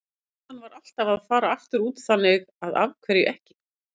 Stefnan var alltaf að fara aftur út, þannig að af hverju ekki?